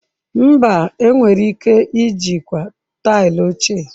Mba, enwere ike ijikwa taịlị ochie.